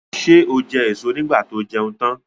Ṣé ó jẹ èso nígbà tó jẹun tan?